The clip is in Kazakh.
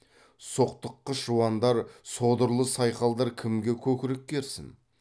соқтыққыш жуандар содырлы сайқалдар кімге көкірек керсін